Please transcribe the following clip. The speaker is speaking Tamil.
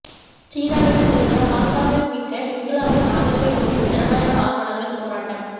சீனாவிடம் இருந்து ஹாங்காங்கை மீட்க இங்கிலாந்தின் ஆதரவை கோரி ஜனநாயக ஆர்வலர்கள் போராட்டம்